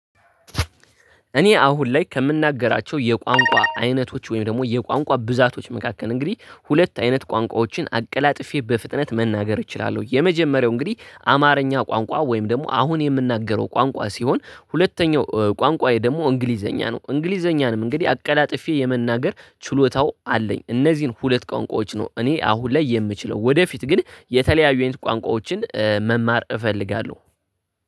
እኔ አሁን ላይ ከምናገራቸው የቋንቋ አይነቶች ወይም ደግሞ የቋንቋ ብዛቶች መካከል እንግዲህ ሁለት አይነት ቋንቋዎችን አቀላጥፌ በፍጥነት መናገር እችላለሁ። የመጀመሪያው እንግዲህ አማርኛ ቋንቋ ወይም ደግሞ አሁን የምናገረው ቋንቋ ሲሆን ሁለተኛው ቋንቋዬ ደግሞ እንግሊዘኛ ነው። እንግሊዘኛንም እንግዲህ አቀላጥፌ የመናገር ችሎታው አለኝ። እነዚህን ሁለት ቋንቋዎች ነው እኔ አሁን ላይ የምችለው ወደፊት ግን የተለያዩ የኔን ቋንቋዎችን መማር እፈልጋለሁ